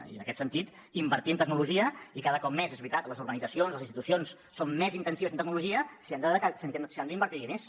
i en aquest sentit invertir en tecnologia i cada cop més és veritat les urbanitzacions i les institucions són més intensives en tecnologia s’hi han d’invertir diners